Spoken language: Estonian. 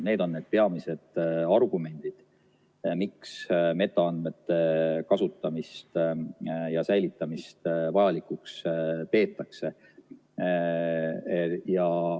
Need on need peamised argumendid, miks metaandmete kasutamist ja säilitamist vajalikuks peetakse.